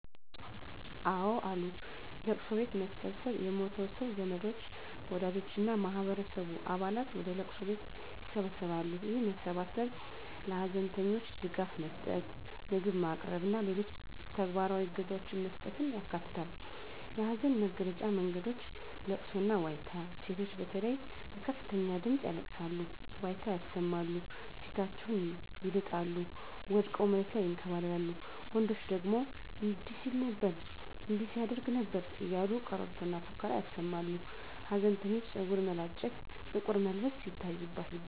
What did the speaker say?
አወ አሉ፦ ለቅሶ ቤት መሰብሰብ የሞተው ሰው ዘመዶች፣ ወዳጆች እና የማህበረሰቡ አባላት ወደ ለቅሶ ቤት ይሰበሰባሉ። ይህ መሰባሰብ ለሀዘንተኞች ድጋፍ መስጠት፣ ምግብ ማቅረብ እና ሌሎች ተግባራዊ እገዛዎችን መስጠትን ያካትታል። የሀዘን መግለጫ መንገዶች * ለቅሶና ዋይታ: ሴቶች በተለይ በከፍተኛ ድምጽ ያለቅሳሉ፣ ዋይታ ያሰማሉ፣ ፊታቸውን ይልጣሉ፣ ወድቀው መሬት ላይ ይንከባለላሉ፤ ወንዶች ደግሞ እንዲህ ሲል ነበር እንዲህ ያደርግ ነበር እያሉ ቀረርቶና ፉከራ ያሰማሉ። ሀዘንተኞች ፀጉር መላጨት፣ ጥቁር መልበስ ይታይባቸዋል።